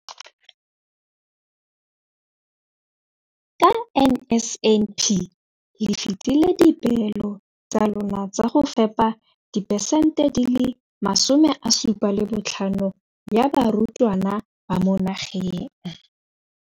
Ka NSNP le fetile dipeelo tsa lona tsa go fepa masome a supa le botlhano a diperesente ya barutwana ba mo nageng.